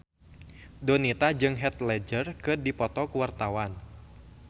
Donita jeung Heath Ledger keur dipoto ku wartawan